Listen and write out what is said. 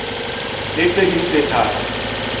le tse ding tse tharo